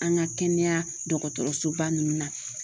An ŋa kɛnɛya dɔgɔtɔrɔsoba ninnu na